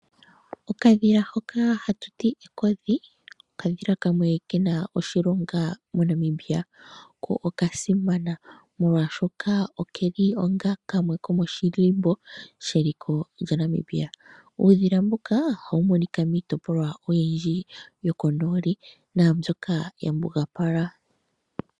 Okadhila hoka hatu ti ekodhi, okadhila kamwe ke na oshilonga moNamaibia ko okasimana molwashoka oke li onga kamwe komoshilimbo sheliko lyaNamibia. Uudhila mbuka oha wu monika miitopolwa oyindji yokonooli na mbyoka ya mbugapala